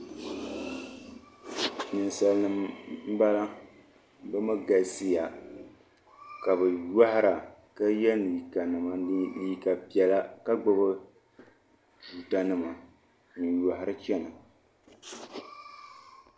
ninsalinima m-bala bɛ mi galisiya ka bɛ yɔhira ka ye liiga nima liiga piɛla ka gbubi tuuta nima n-yɔhiri chana.